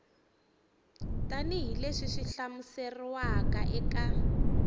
tanihi leswi swi hlamuseriwaka eka